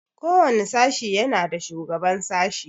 Ko wani sashi yana da shugaban sashi.